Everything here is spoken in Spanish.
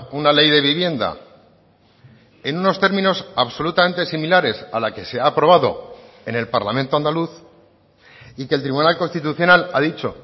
una ley de vivienda en unos términos absolutamente similares a la que se ha aprobado en el parlamento andaluz y que el tribunal constitucional ha dicho